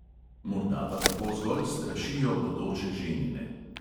Morda pa tako zgolj strašijo bodoče ženine.